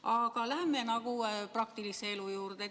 Aga läheme praktilise elu juurde.